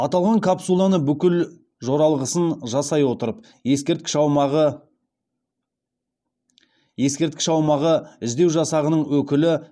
аталған капсуланы бүкіл жоралғысын жасай отырып ескерткіш аумағы іздеу жасағының өкілі